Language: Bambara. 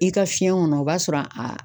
I ka fiɲɛ kɔnɔ o b'a sɔrɔ a